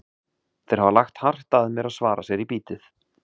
Þeir hafa lagt hart að mér að svara sér í bítið.